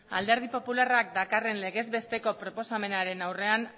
alderdi popularrak dakarren legezbesteko proposamenaren aurrean